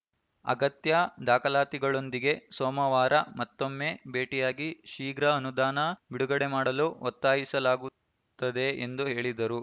ಅಗತ್ಯ ದಾಖಲಾತಿಗಳೊಂದಿಗೆ ಸೋಮವಾರ ಮತ್ತೊಮ್ಮೆ ಭೇಟಿಯಾಗಿ ಶೀಘ್ರ ಅನುದಾನ ಬಿಡುಗಡೆ ಮಾಡಲು ಒತ್ತಾಯಿಸಲಾಗುತ್ತದೆ ಎಂದು ಹೇಳಿದರು